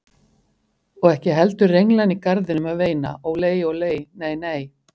Og ekki heldur renglan í garðinum að veina ólei, ólei, nei, nei.